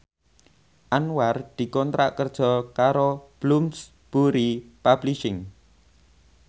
Anwar dikontrak kerja karo Bloomsbury Publishing